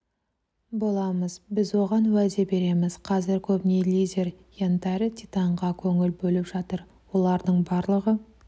боламыз біз оған уәде береміз қазір көбіне лидер янтарь титанға көңіл бөліп жатыр олардың барлығы